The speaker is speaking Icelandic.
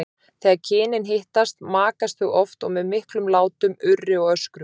Þegar kynin hittast makast þau oft og með miklum látum, urri og öskrum.